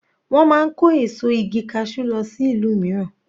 Wọ́n máa ń kó èso igi cashew lọ sí ìlú mìíràn.